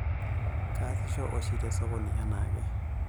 Kaasisho oshi te sokoni anaake.